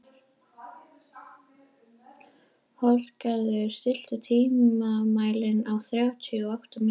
Holgeir, stilltu tímamælinn á þrjátíu og átta mínútur.